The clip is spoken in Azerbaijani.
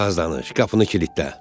Az danış, qapını kilidlə.